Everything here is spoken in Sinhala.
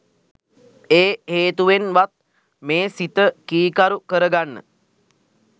ඒ හේතුවෙන් වත් මේ සිත කීකරු කරගන්න